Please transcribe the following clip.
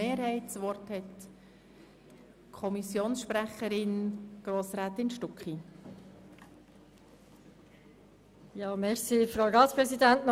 Eventualiter: Der Ausgleich dieser Lastenverschiebung aufgrund der Wirkung dieser Massnahmeerfolgt gemäss Artikel 29b FILAG.